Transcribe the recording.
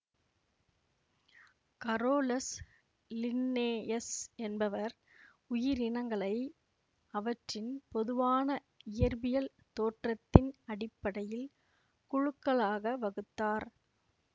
Carolus Linnaeus என்பவர் உயிரினங்களை அவற்றின் பொதுவான இயற்பியல் தோற்றத்தின் அடிப்படையில் குழுக்களாக வகுத்தார்